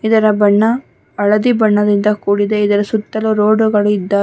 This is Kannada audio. ಇದರ ಬಣ್ಣ ಹಳದಿ ಬಣ್ಣದಿಂದ ಕೂಡಿದೆ ಇದರ ಸುತ್ತಲೂ ರೋಡ್ ಗಳು ಇದ್ದ --